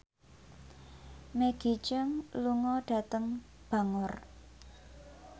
Maggie Cheung lunga dhateng Bangor